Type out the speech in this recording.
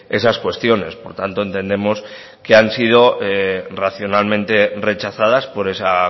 esas cuestiones por tanto entendemos que han sido racionalmente rechazadas por esa